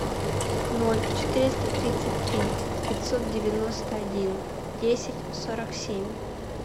ноль четыреста тридцать три пятьсот девяносто один десять сорок семь